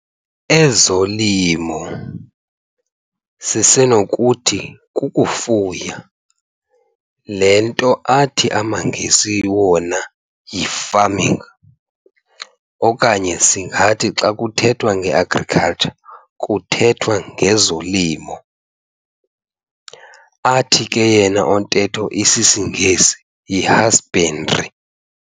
Ezolimo, sisenokuthi kukufuya, le nto athi amaNgesi wona yi-farming, okanye singathi xa kuthethwa nge-Agriculture kuthethwa ngezolimo, athi ke yena ontetho isisiNgesi yi-husbandry.